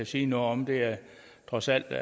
sige noget om det er trods alt